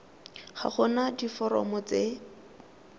ga go na diforomo tse